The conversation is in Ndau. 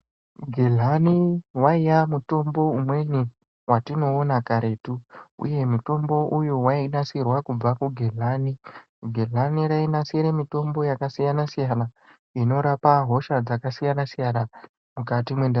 Gehlani waiva mutombo umweni watinoona karetu uye mutombo uyu wainasirwa kubva kugehlani gehlani rainasira mutombo yakasiyana siyana inorape hosha dzakasiyana siyana mukati mendaramo.